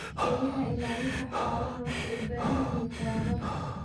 Eeyaha ilaalinta xoolaha waxay u baahan yihiin tababar.